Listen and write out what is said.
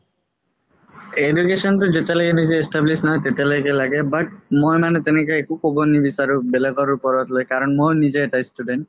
education তো মানে যেতিয়া লৈকে establish নহয় তেতিয়ালৈকে লাগে but মই মানে তেনেকে একো ক'ব নিবিচাৰো বেলেগৰ ওপৰত লৈ কাৰণ মই নিজে এটা student